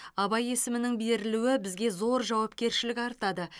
абай есімінің берілуі бізге зор жауапкершілік артады